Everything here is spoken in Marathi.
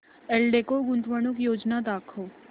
एल्डेको गुंतवणूक योजना दाखव